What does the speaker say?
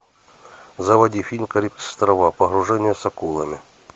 заводи фильм карибские острова погружение с акулами